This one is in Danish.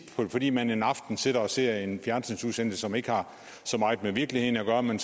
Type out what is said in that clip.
at fordi man en aften sidder og ser en fjernsynsudsendelse som ikke har så meget med virkeligheden at gøre men